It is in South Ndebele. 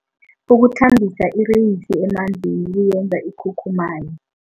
Ukuthambisa ireyisi emanzini kuyenza ikhukhumaye.